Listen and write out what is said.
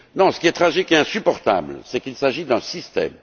Ce qui est tragique et insupportable, c'est qu'il s'agit d'un système.